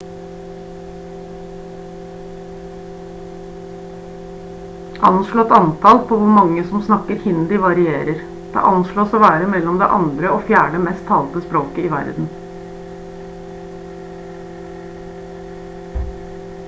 anslått antall på hvor mange som snakker hindi varierer det anslås å være mellom det andre og fjerde mest talte språket i verden